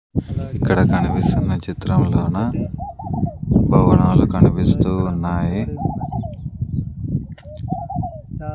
ఇక్కడ కనిపిస్తున్న చిత్రంలోన భవనాలు కనిపిస్తూ ఉన్నాయి.